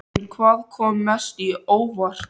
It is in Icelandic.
En hvað kom mest á óvart?